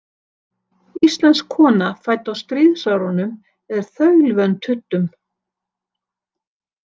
Íslensk kona fædd á stríðsárunum er þaulvön tuddum.